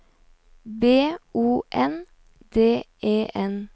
B O N D E N